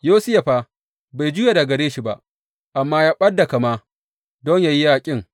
Yosiya fa, bai juya daga gare shi ba, amma ya ɓad da kama don yă yi yaƙin.